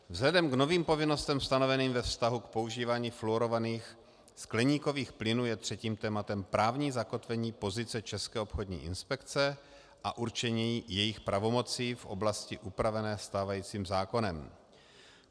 Vzhledem k novým povinnostem stanoveným ve vztahu k používání fluorovaných skleníkových plynů je třetím tématem právní zakotvení pozice České obchodní inspekce a určení jejích pravomocí v oblasti upravené stávajícím zákonem.